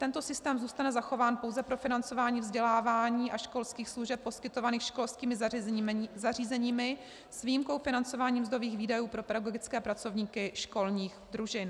Tento systém zůstane zachován pouze pro financování vzdělávání a školských služeb poskytovaných školskými zařízeními s výjimkou financování mzdových výdajů pro pedagogické pracovníky školních družin.